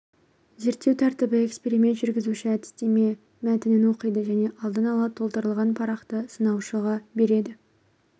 зерттеу тәртібі эксперимент жүргізуші әдістеме мәтінін оқиды және алдын ала толтырылған парақты сыналушыға береді